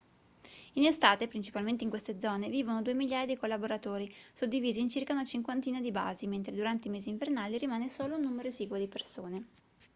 in estate principalmente in queste zone vivono due migliaia di collaboratori suddivisi in circa una cinquantina di basi mentre durante i mesi invernali rimane solo un numero esiguo di persone